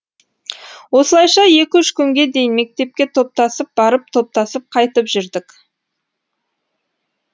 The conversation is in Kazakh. осылайша екі үш күнге дейін мектепке топтасып барып топтасып қайтып жүрдік